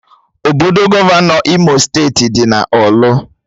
Obodo Gọvanọ Imo steeti dị na ọrlu